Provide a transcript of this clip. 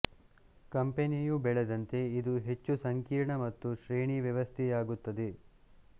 ಕಂಪೆನಿಯು ಬೆಳೆದಂತೆ ಇದು ಹೆಚ್ಚು ಸಂಕೀರ್ಣ ಮತ್ತು ಶ್ರೇಣಿ ವ್ಯವಸ್ಥೆಯಾಗುತ್ತದೆ